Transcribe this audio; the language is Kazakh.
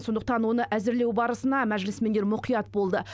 сондықтан оны әзірлеу барысына мәжілісмендер мұқият болды